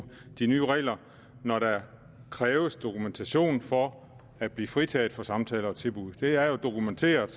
de nye regler når der kræves dokumentation for at blive fritaget for samtaler og tilbud det er jo dokumenteret